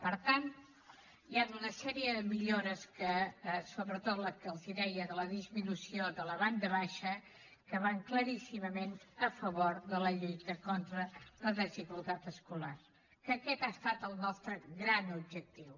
per tant hi han una sèrie de millores que sobretot la que els deia de la disminució de la banda baixa van claríssimament a favor de la lluita contra la desigualtat escolar que aquest ha estat el nostre gran objectiu